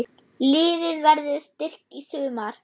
Liðið verður styrkt í sumar.